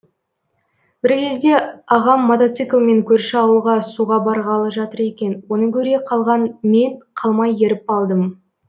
бір кезде ағам мотоциклімен көрші ауылға суға барғалы жатыр екен оны көре қалған мен қалмай еріп алдым